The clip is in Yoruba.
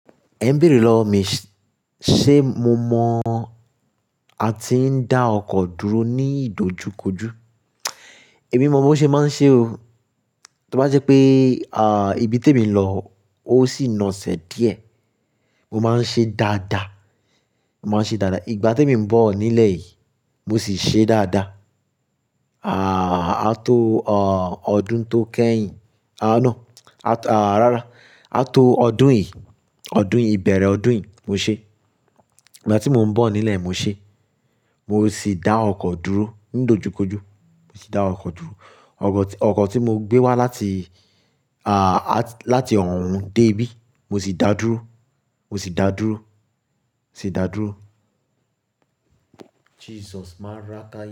Ẹ ń béèrè lọ wọ, mi sé mo mọ̀ a ti ń dá ọkọ̀ dúró ní ìdojúkojú? Èmi mọ̀ bó ṣe máa ń ṣe o. Tí ó bá jẹ́ pé, à, ibi tí èmi ń lọ, ó sì na sẹ̀ díẹ̀, mo máa ń ṣe dáadáa, mo máa ń ṣe dáadáa. Ìgbà tí èmi ń bọ̀ nílẹ̀ yìí, mo sì ṣe dáadáa. À, á tó, ò, ọdún tó kẹ́yìn, à, no, à, à, rárá, á tó ọdún yìí, ọdún yìí, ìbẹ̀rẹ̀ ọdún yìí mo ṣe. Ìgbà tí mò ń bọ̀ nílẹ̀ mo ṣe. Mo sì dá ọkọ̀ dúró ń dojúkojú, mo sì dá ọkọ̀ dúró. Ọkọ̀ tí, ọkọ̀ tí mo gbé wá láti, à, láti ọ̀hun dé ibí, mo sì dáa dúró, mo sì dáa dúró, mo sì dáa dúró. Jesus máa ráká yá.